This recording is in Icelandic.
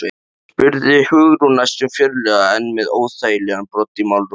spurði Hugrún næstum fjörlega en með óþægilegan brodd í málrómnum.